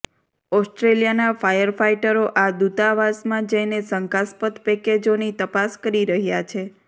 ઓસ્ટ્રેલિયાના ફાયરફાઇટરો આ દૂતાવાસમાં જઇને શંકાસ્પદ પેકજોની તપાસ કરી રહ્યા છે